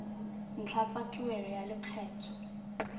ntlha tsa tuelo ya lekgetho